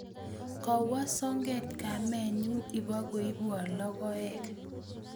Kawo soget kamennyu ipkoibwon logoek